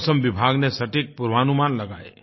मौसम विभाग ने सटीक पूर्वानुमान लगाये